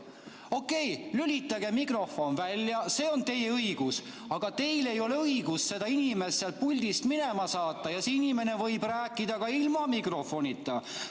Okei, lülitage mikrofon välja, see on teie õigus, aga teil ei ole õigust seda inimest puldist minema saata, ja see inimene võib rääkida ka ilma mikrofonita.